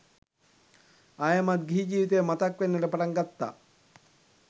ආයෙමත් ගිහි ජීවිතය මතක් වෙන්නට පටන් ගත්තා.